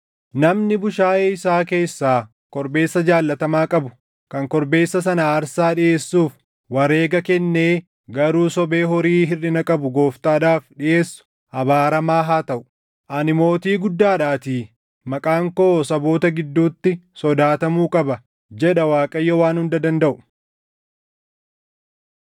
“Namni bushaayee isaa keessaa korbeessa jaallatamaa qabu kan korbeessa sana aarsaa dhiʼeessuuf wareega kennee garuu sobee horii hirʼina qabu Gooftaadhaaf dhiʼeessu abaaramaa haa taʼu. Ani mootii guddaadhaatii, maqaan koo saboota gidduutti sodaatamuu qaba” jedha Waaqayyo Waan Hunda Dandaʼu.